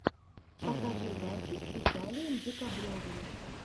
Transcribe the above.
покажи дачу с виталием декабревым